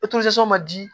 ma di